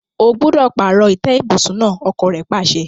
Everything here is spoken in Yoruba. O gbúdọ̀ pààrọ̀ ìtẹ́ ibùsùn náà! ọkọ́ rẹ̀ pàṣẹ.